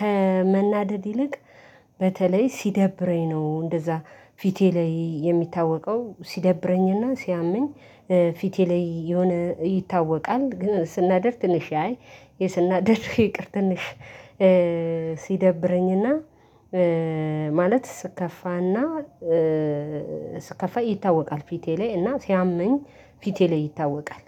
ከመናደድ ይልቅ በተለይ ሲደብረኝ ነው እንደዛ ፊቴ ላይ የሚታወቀው ሲደብረኝና ሲያመኝ ፊቴ ላይ የሆነ ይታወቃል። ግን ስናደድ ትንሽ አይ ስናደድ ይቅር ትንሽ ሲደብረኝና ማለት ስከፋና ስከፋ ይታወቃል። ፊቴ ላይ እና ሲያመኝ ፊቴ ላይ ይታወቃል።